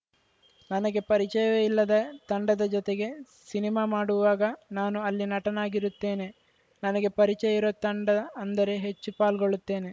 ನನಗೆ ಪರಿಚಯವೇ ಇಲ್ಲದ ತಂಡದ ಜೊತೆಗೆ ಸಿನಿಮಾ ಮಾಡುವಾಗ ನಾನು ಅಲ್ಲಿ ನಟನಾಗಿರುತ್ತೇನೆ ನನಗೆ ಪರಿಚಯ ಇರೋ ತಂಡ ಅಂದರೆ ಹೆಚ್ಚು ಪಾಲ್ಗೊಳ್ಳುತ್ತೇನೆ